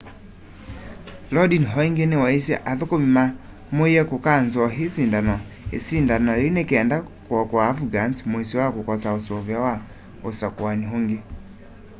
lodin o ingi niwaisye athukumi mamuie kukanzoo isindano yiu nikenda kuokoa afghans muisyo wa kukosa usuvio wa usakuani ungi